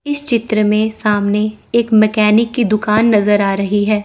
इस चित्र में सामने एक मैकेनिक की दुकान नजर आ रही है।